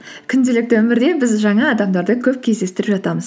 күнделікті өмірде біз жаңа адамдарды көп кездестіріп жатамыз